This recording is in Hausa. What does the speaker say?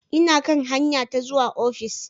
Ina kan hanya ta zuwa ofis.